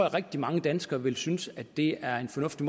at rigtig mange danskere vil synes at det er en fornuftig